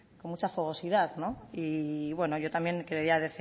con mucha fogosidad y bueno yo también quería